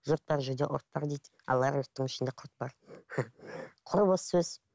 жұрт бар жерде ұрт бар дейді ал огородтың ішінде құрт бар құр бос соз